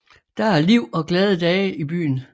Der er liv og glade dage i byen